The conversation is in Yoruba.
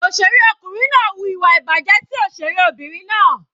Òṣèré ọkùnrin náà wu ìwà ìbàjẹ́ sí òṣèré Obìnrin náà.